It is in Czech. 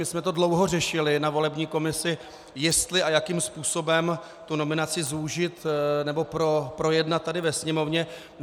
My jsme to dlouho řešili ve volební komisi, jestli a jakým způsobem tu nominaci zúžit nebo projednat tady ve Sněmovně.